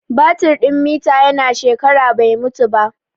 Batir din mita ya na shekara bai mutu ba